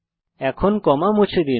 এখন কমা মুছে দিন